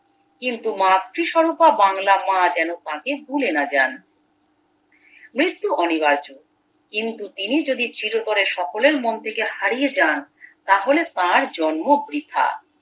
কিন্তু মাতৃ স্বরূপা বাংলা মা যেন তাকে ভুলে না যান মৃত্যু অনিবার্য কিন্তু তিনি যদি চিরতরে সকলের মন থেকে হারিয়ে যান তাহলে তার জন্ম বৃথা